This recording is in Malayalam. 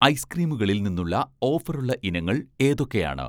ഐസ്ക്രീമുകളിൽ നിന്നുള്ള ഓഫറുള്ള ഇനങ്ങൾ ഏതൊക്കെയാണ്?